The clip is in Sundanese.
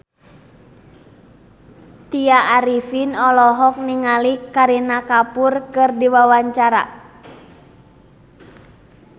Tya Arifin olohok ningali Kareena Kapoor keur diwawancara